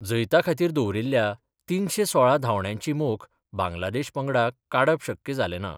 जैताखातीर दवरील्ल्या तिनशे सोळा धावण्यांची मोख बांग्लादेश पंगडाक काडप शक्य जाले ना.